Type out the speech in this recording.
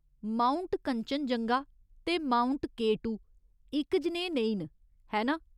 Mount Kanchenjunga ते mount K two इक जनेह् नेईं न, है ना ?